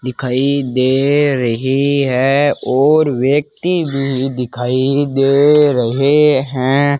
दिखाई दे रही है और व्यक्ति भी दिखाई दे रहे हैं।